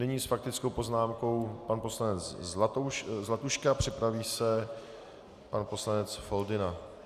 Nyní s faktickou poznámkou pan poslanec Zlatuška, připraví se pan poslanec Foldyna.